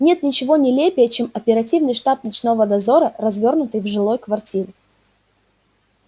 нет ничего нелепее чем оперативный штаб ночного дозора развёрнутый в жилой квартире